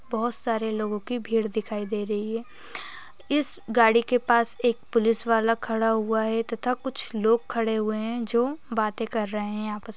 बहोत सारे लोगों की भीड़ दिखाई दे रही है इस गाड़ी के पास एक पुलिस वाला खड़ा हुआ है तथा कुछ लोग खड़े हुए हैं जो बातें कर रहे हैं आपस--